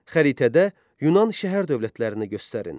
Xəritədə Yunan şəhər dövlətlərini göstərin.